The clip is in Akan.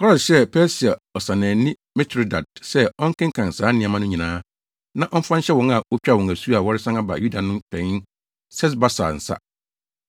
Kores hyɛɛ Persia ɔsannaani Mitredat sɛ ɔnkenkan saa nneɛma no nyinaa, na ɔmfa nhyɛ wɔn a wotwaa wɔn asu a wɔresan aba Yuda no panyin Sesbasar nsa.